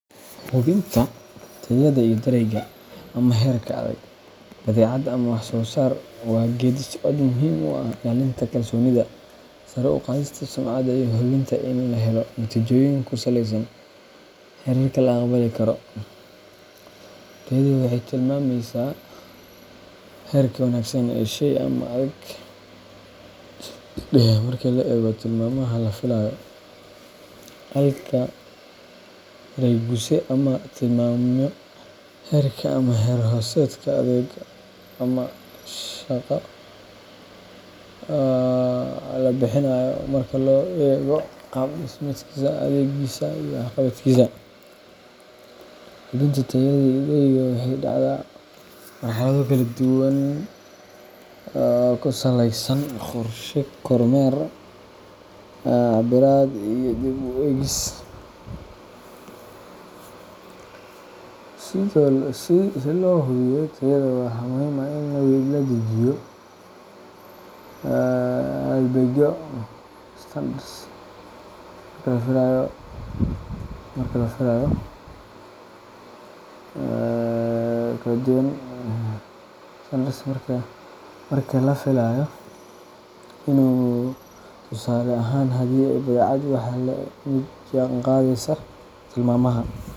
Hubinta tayada iyo darayga ama heerka adeeg, badeecad, ama wax-soo-saar waa geeddi-socod muhiim u ah ilaalinta kalsoonida, sare u qaadista sumcadda, iyo hubinta in la helo natiijooyin ku saleysan heerarka la aqbali karo. Tayadu waxay tilmaamaysaa heerka wanaagsan ee shey ama adeeg leeyahay marka loo eego tilmaamaha la filayo, halka darayguse uu tilmaamayo heerka ama heer-hoosaadka adeegga ama sheyga la bixinayo marka loo eego qaab dhismeedkiisa, adeegsigiisa, iyo waxqabadkiisa. Hubinta tayada iyo daraygu waxay dhacdaa marxalado kala duwan waxayna ku saleysan tahay qorshe, kormeer, cabbirid, iyo dib-u-eegis. Si loo hubiyo tayada, waxaa muhiim ah in la dejiyo halbeegyo standards horay loo sii qeexay kuwaas oo qeexaya waxa la filayo ama la doonayo in lagu guuleysto. Tusaale ahaan, haddii ay tahay badeecad, waxaa la eegaa in ay tahay mid la jaanqaadaysa tilmaamaha.